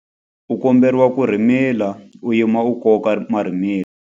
U komberiwa ku rhimila u yima ku koka marhimila.